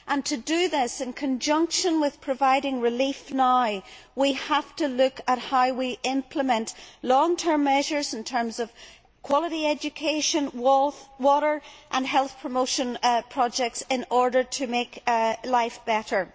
To do this, in conjunction with providing relief now, we have to look at how we implement long term measures in terms of quality education, water and health promotion projects, in order to make life better.